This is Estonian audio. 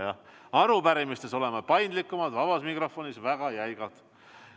Jah, arupärimiste osas oleme paindlikumad, vaba mikrofoni osas väga jäigad.